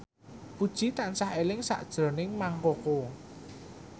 Puji tansah eling sakjroning Mang Koko